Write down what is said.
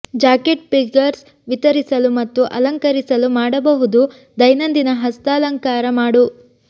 jacket figures ವಿತರಿಸಲು ಮತ್ತು ಅಲಂಕರಿಸಲು ಮಾಡಬಹುದು ದೈನಂದಿನ ಹಸ್ತಾಲಂಕಾರ ಮಾಡು